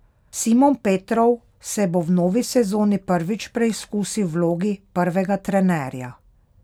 Simon Petrov se bo v novi sezoni prvič preizkusil v vlogi prvega trenerja.